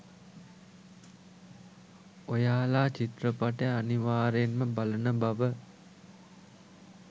ඔයාලා චිත්‍රපටය අනිවාර්යයෙන්ම බලන බව